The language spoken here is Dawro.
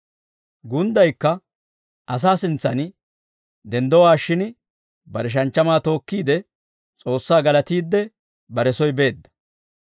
Gunddaykka asaa sintsaan denddowaashshin bare shanchchamaa tookkiide S'oossaa galatiidde bare soy beedda.